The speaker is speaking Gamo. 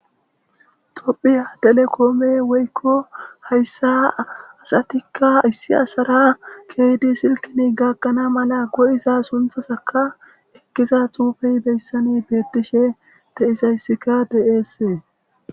Tophphiya telekome woyikko hayissa asatikka issi asara ke'iddi silkenni gagana mala koyiza sunththazakka ekizza xufeyi hayissan betishshe de'izayisskka hayissanni de'ees.